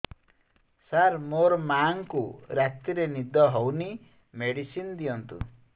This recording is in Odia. ସାର ମୋର ମାଆଙ୍କୁ ରାତିରେ ନିଦ ହଉନି ମେଡିସିନ ଦିଅନ୍ତୁ